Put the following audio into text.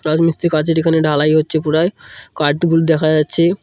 রাজমিস্ত্রির কাজের এখানে ঢালাই হচ্ছে পুরাই কাঠগুলি দেখা যাচ্ছে।